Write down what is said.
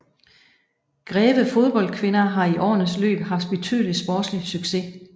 Greve Fodbold Kvinder har i årenes løb haft betydelig sportslig success